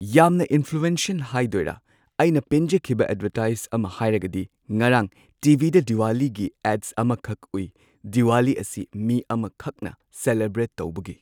ꯌꯥꯝꯅ ꯏꯟꯐ꯭ꯂꯨꯑꯦꯟꯁꯦꯜ ꯍꯥꯏꯗꯣꯏꯔꯥ ꯑꯩꯅ ꯄꯦꯟꯖꯈꯤꯕ ꯑꯦꯗꯚꯔꯇꯥꯏꯖ ꯑꯃ ꯍꯥꯏꯔꯒꯗꯤ ꯉꯔꯥꯡ ꯇꯤ.ꯚꯤ.ꯗ ꯗꯤꯋꯥꯂꯤꯒꯤ ꯑꯦꯗ ꯑꯃꯈꯛ ꯎꯏ ꯗꯤꯋꯥꯂꯤ ꯑꯁꯤ ꯃꯤ ꯑꯃꯈꯛꯅ ꯁꯦꯂꯦꯕ꯭ꯔꯦꯠ ꯇꯧꯕꯒꯤ꯫